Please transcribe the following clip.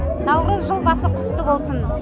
наурыз жыл басы құтты болсын